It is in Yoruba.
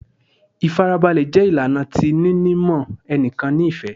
Ifarabalẹ jẹ ilana ti nini mọ ẹnikan ni ifẹ